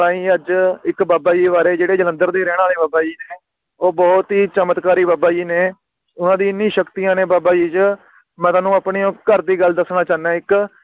ਅੱਜ ਇਕ ਬਾਬਾ ਜੀ ਬਾਰੇ ਜਿਹੜੇ ਜਲੰਧਰ ਦੇ ਰਹਿਣ ਵਾਲੇ ਬਾਬਾ ਜੀ ਨੇ ਉਹ ਬੋਹੋਤ ਹੀ ਚਮਤਕਾਰੀ ਬਾਬਾ ਜੀ ਨੇ ਓਹਨਾ ਦੀ ਇਨੀ ਸ਼ਕਤੀਆਂ ਨੇ ਬਾਬਾ ਜੀ ਚ ਮੈਂ ਤੁਹਾਨੂੰ ਆਪਣੇ ਉਸ ਘਰ ਦੀ ਗੱਲ ਦੱਸਣਾ ਚਾਹੁੰਦਾ ਆ ਇਕ